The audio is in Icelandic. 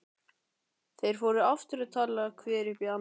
Þeir fóru aftur að tala hver upp í annan.